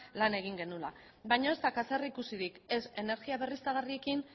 lan egin genuela baina ez dauka zerikusirik ez energia berriztagarriekin